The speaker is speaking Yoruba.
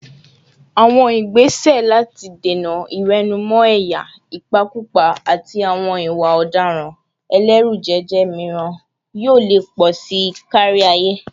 Àwọn ìgbésẹ̀ láti dènà ìwẹ̀nùmọ́ ẹ̀yà, ìpakúpa, àti àwọn ìwà ọ̀daràn ẹlẹ́rùjẹ̀jẹ̀ míràn yóò lè pọ̀ sí i kárí ayé.